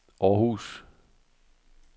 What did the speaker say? Århus